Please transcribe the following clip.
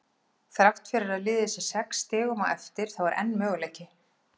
Þrátt fyrir að liðið sé sex stigum á eftir þá er enn möguleiki.